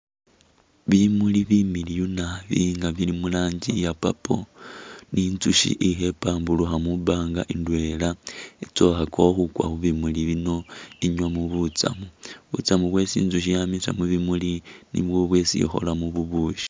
Bimuli bimiliwu naabi nga bili mulangi iya purple ni izushi ilikho ipambulukha mwipanga indwela itsa ukhakakho khukwa mubimuli bino inywemo butsam butsamu bwesi itsushi yamisa mubibuli niyo bwesi ikholamu bubushi.